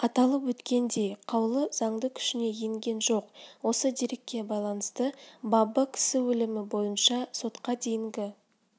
аталып өткендей қаулы заңды күшіне енген жоқ осы дерекке байланысты бабы кісі өлімі бойынша сотқа дейінгі